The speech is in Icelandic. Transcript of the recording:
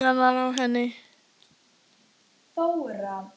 Hann fer í taugarnar á henni.